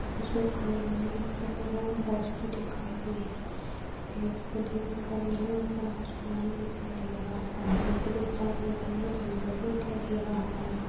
कुछ लोग खड़े हुए दिखाई दे रहे है बस भी दिखाई दे रहे है पेड़ पौधे दिखाई दे रहे है ऊपर आसमान भी दिखाई दे रहा है पहाडी भी दिखाई दे रही है जंगल भी दिखाई दे रहा है ।